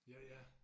Ja ja